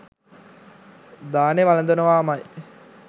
දානෙ වළඳනවාමයි